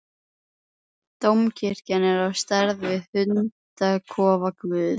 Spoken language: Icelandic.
Dómkirkjan er á stærð við hundakofa guðs.